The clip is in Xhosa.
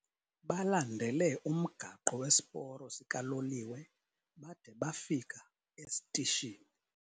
Balandele umgaqo wesiporo sikaloliwe bade bafika esitishini.